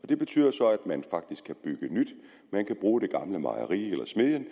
det betyder så at man faktisk kan bygge nyt man kan bruge det gamle mejeri eller smedjen